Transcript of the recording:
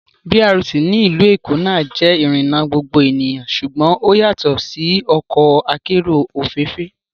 BRT ní ìlú Èkó náà jẹ́ ìrìnà gbogbo ènìyàn ṣùgbọ́n ó yàtọ̀ sí ọkọ akérò òféèfé